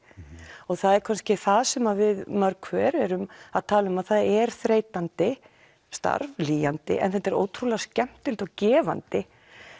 og það er kannski það sem við mörg hver erum að tala um að það er þreytandi starf lýjandi en þetta er ótrúlega skemmtilegt og gefandi